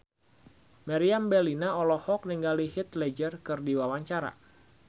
Meriam Bellina olohok ningali Heath Ledger keur diwawancara